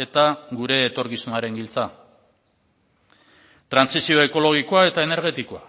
eta gure etorkizunaren giltza trantsizio ekologikoa eta energetikoa